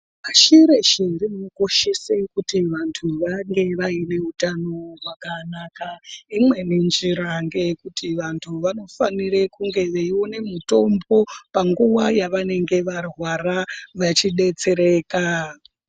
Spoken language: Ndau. Shireshe rinokoshese kuti vantu vange vaine utano hwakanaka imweni njira ngeyekuti vantu vanofanire kunge veione mutombo panguwa yavanenge varwara vachidetsereka.